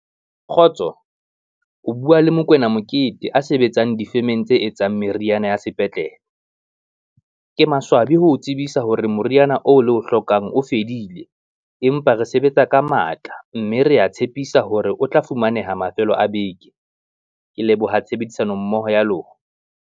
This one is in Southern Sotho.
Kgotso, o bua le Mokoena Mokete a sebetsang difemeng tse etsang meriana ya sepetlele. Ke maswabi ho o tsebisa hore moriana oo le o hlokang o fedile, empa re sebetsa ka matla mme re tshepisa hore o tla fumaneha mafelo a beke. Ke leboha tshebedisano mmoho ya lona.